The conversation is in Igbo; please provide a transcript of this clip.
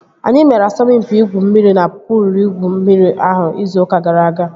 Anyị mere asọmpi igwu mmiri na puul igwu mmiri ahụ izu ụka gara aga